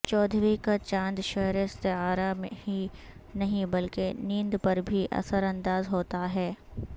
چودھویں کا چاند شعری استعارہ ہی نہیں بلکہ نیند پر بھی اثر انداز ہوتا ہے